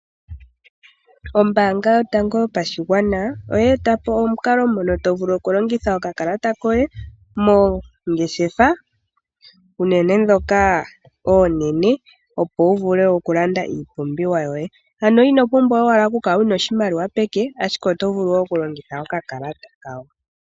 Ombanga yotango yopashigwana oye eta po omukalo ngono tovulu oku longitha okakalata koye moongeshefa uunene dhoka oonene opo wuvule okulanda iipumbiwa yoye. Ino pumbwa owala oku kala wuna oshimaliwa peke ashike oto vulu wo okulongitha okakalata kawo.